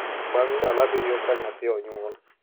Bang’ ndalo abiriyo ka nyathi onyuol, .